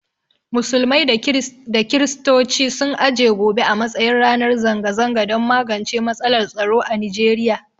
Musulmai da kirstoci sun aje gobe a matsayin ranar zanga zanga don magance matsalar tsaro a Nigeriya.